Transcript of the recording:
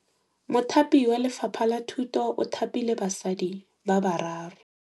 Mothapi wa Lefapha la Thutô o thapile basadi ba ba raro.